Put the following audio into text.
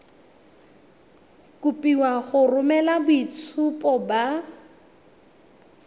kopiwa go romela boitshupo ba